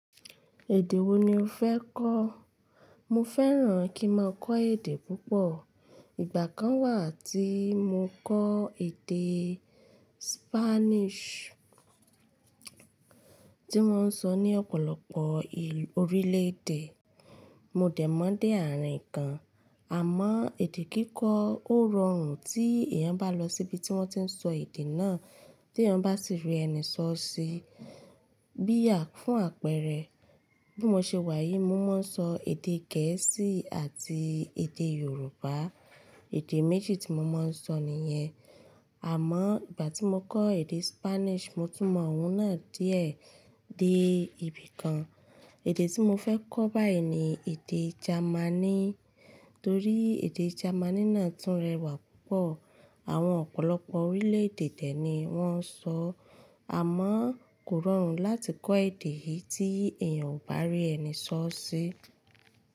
Èdè wo ni o fẹ́ kọ́? Mo fẹ́ràn kí n máa kọ́ èdè púpọ̀. Ìgbà kan wà tí mo kọ́ èdè Spanish tí wọ́n ń sọ ní ọ̀pọ̀lọpọ̀ orílè-èdè. Mo dẹ̀ mọ̀ọ́ dé àárín kan, àmọ́ èdè kíkọ́ ó rọrùn tí èèyàn bá lọ sí ibi tí wọ́n ti ń sọ èdè náà tí èèyàn bá sì rí ẹni sọ ọ́ sí. Bí à fún àpẹrẹ bí mo ṣe wà yìí mo máa ń sọ èdè gẹ̀ẹ́sì àti èdè Yorùbá. Èdè méjì tí mo máa ń sọ nìyẹn. Àmọ́ ìgbà tí mo kọ́ èdè Spanish mo tún mọ̀ òun náà díẹ̀ dé ibìkan. Èdè tí mo fẹ́ kọ́ báyìí ni èdè Jamaní torí èdè Jamaní náà tún rẹwà púpọ̀. Àwọn ọ̀pọ̀lọpọ̀ orílè-èdè dẹ̀ ní wọ́n ń sọ. Àmọ́ kò rọrùn láti kọ́ èdè yìí tí èèyàn ò bá rí ẹni sọ ọ́ sí.